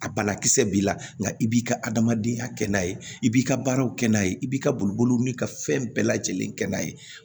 A banakisɛ b'i la nka i b'i ka adamadenya kɛ n'a ye i b'i ka baaraw kɛ n'a ye i b'i ka boli boliw mili ka fɛn bɛɛ lajɛlen kɛ n'a ye